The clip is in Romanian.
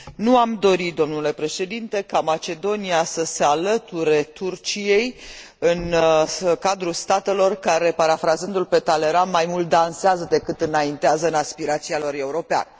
Nu am dori, domnule președinte, ca Macedonia să se alăture Turciei în cadrul statelor care, parafrazându l pe Talleyrand, mai mult dansează decât înaintează în aspirația lor europeană.